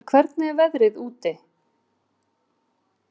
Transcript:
Vilberg, hvernig er veðrið úti?